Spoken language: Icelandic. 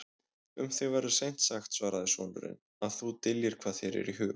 Um þig verður seint sagt, svaraði sonurinn,-að þú dyljir hvað þér er í hug.